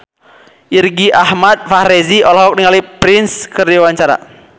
Irgi Ahmad Fahrezi olohok ningali Prince keur diwawancara